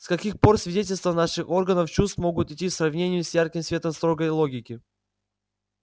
с каких пор свидетельства наших органов чувств могут идти в сравнение с ярким светом строгой логики